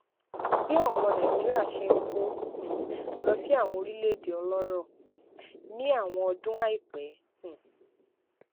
bí àwọn ọmọ nàìjíríà ṣe ń kó um lọ sí àwọn orílèèdè ọlórò um ní àwọn ọdún àìpẹ um